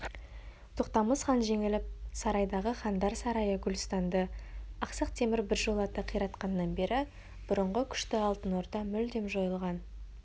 тоқтамыс хан жеңіліп сарайдағы хандар сарайы гүлстанды ақсақ темір біржолата қиратқаннан бері бұрынғы күшті алтын орда мүлдем жойылған